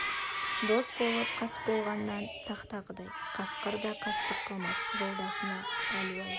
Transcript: дос болып қас болғаннан сақта құдай қасқыр да қастық қылмас жолдасына әлу-ай